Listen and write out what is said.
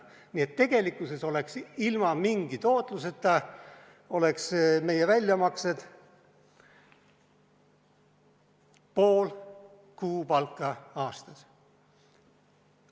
Nii et tegelikkuses oleksid ilma mingi tootluseta meie väljamaksed pool kuupalka aastas.